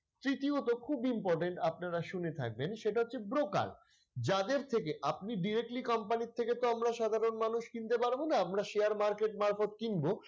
তৃতীয়তঃ খুব important আপনারা শুনে থাকবেন সেটা হচ্ছে broker যাদের থেকে আপনি directly company র থেকে তো আমরা সাধারণ মানুষ কিনতে পারব না আমরা share market মারফত কিনব।